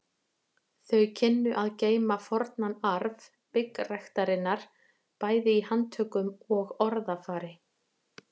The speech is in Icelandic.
Þau kynnu að geyma fornan arf byggræktarinnar bæði í handtökum og orðafari.